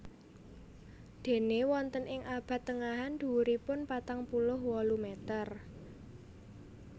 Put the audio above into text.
Déné wonten ing abad tengahan dhuwuripun patang puluh wolu meter